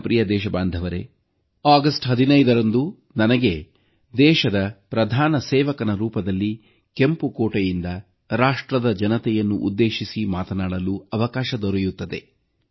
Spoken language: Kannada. ನನ್ನ ಪ್ರಿಯ ದೇಶಬಾಂಧವರೇ ಆಗಸ್ಟ್ 15ರಂದು ನನಗೆ ದೇಶದ ಪ್ರಧಾನ ಸೇವಕನ ರೂಪದಲ್ಲಿ ಕೆಂಪು ಕೋಟೆಯಿಂದ ರಾಷ್ಟ್ರದ ಜನತೆಯನ್ನು ಉದ್ದೇಶಿಸಿ ಮಾತನಾಡಲು ಅವಕಾಶ ದೊರೆಯುತ್ತದೆ